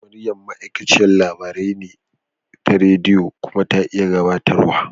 Maryam ma'aikaciyar labarai ce ta rediyo kuma ta iya gabatarwa.